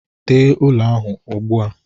Tee ụlọ ahụ ugbu a.